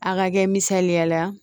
A ka kɛ misaliya la